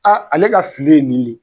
A ale ka fili ye nin le.